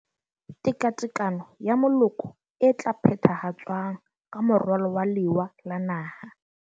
Tekatekano ya moloko e tla phethahatswang ka moralo wa Lewa la naha.